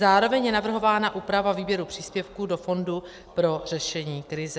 Zároveň je navrhována úprava výběru příspěvků do fondu pro řešení krize.